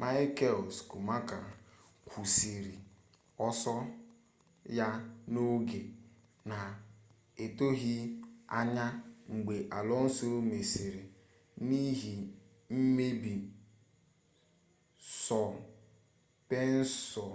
michael schumacher kwụsịrị ọsọ ya n'oge na-etoghị anya mgbe alonso mesịrị n'ihi mmebi sọspenshọn